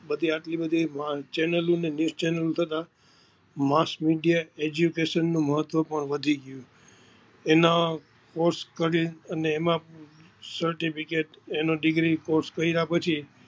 બધી આટલી બધી ચેલન news channel થતા Maas Media eduction નું મહત્વ પણ વધી ગયું. એના Course કરી